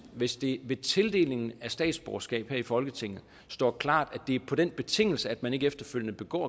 hvis det ved tildelingen af statsborgerskab her i folketinget står klart at det er på den betingelse at man ikke efterfølgende begår